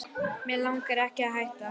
Mig langar ekki að hætta.